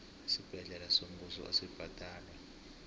isibhedlela sombuso asibhadalwa